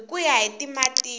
hi ku ya hi matimu